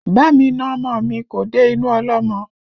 Bá mi na ọmọ mi, kò dé inú ọlọ́mọ